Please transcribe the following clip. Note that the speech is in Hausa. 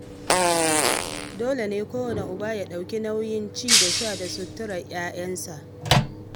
Dole ne kwanne uba ya ɗauki nauyin ci da sha da suturar 'ya'yansa